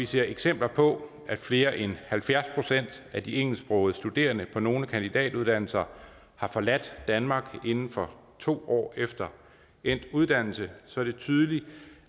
ser eksempler på at flere end halvfjerds procent af de engelsksprogede studerende på nogle kandidatuddannelser har forladt danmark inden for to år efter endt uddannelse så er det tydeligt